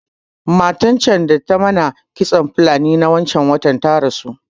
Matan can da ta mana kitson Fulani na wancan watan ta rasu